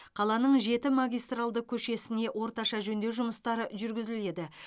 қаланың жеті магистралды көшесіне орташа жөндеу жұмыстары жүргізіледі